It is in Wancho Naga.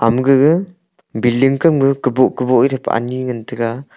ama gaga building kam ka kaboh kaboh ani ngan taiga.